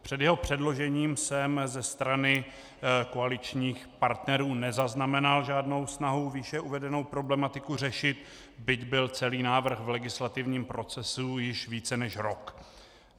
Před jeho předložením jsem ze strany koaličních partnerů nezaznamenal žádnou snahu výše uvedenou problematiku řešit, byť byl celý návrh v legislativním procesu již více než rok.